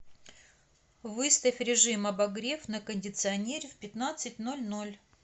выставь режим обогрев на кондиционере в пятнадцать ноль ноль